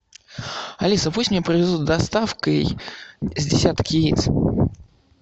алиса пусть мне привезут доставкой с десяток яиц